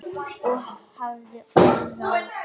Og hafði orð á.